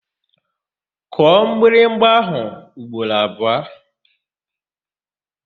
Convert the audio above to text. Kụọ mgbịrịgba áhụ̀ ugboro abụọ!